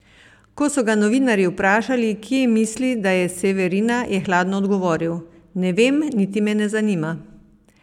Ko so ga novinarji vprašali, kje misli, da je Severina, je hladno odgovoril: "Ne vem, niti me ne zanima.